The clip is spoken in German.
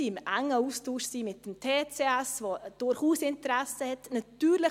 Wir sind im engen Austausch mit dem TCS, der durchaus Interesse hat.